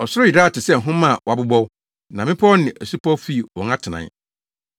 Ɔsoro yeraa te sɛ nhoma a wɔabobɔw, na mmepɔw ne asupɔw fii wɔn atenae.